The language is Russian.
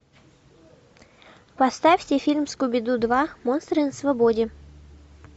поставьте фильм скуби ду два монстры на свободе